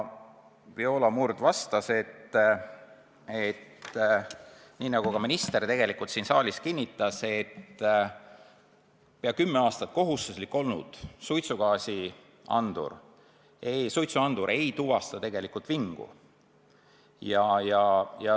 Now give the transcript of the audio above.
Viola Murd vastas, nii nagu ka minister siin saalis kinnitas, et pea kümme aastat kohustuslik olnud suitsuandur ei tuvasta vingu.